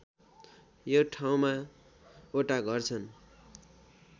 यो ठाउँमा वटा घर छन्